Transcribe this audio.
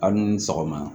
A ni ni sɔgɔma